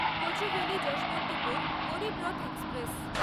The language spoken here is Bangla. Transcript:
কচুভেলি যশবন্তপুর গরীবরথ এক্সপ্রেস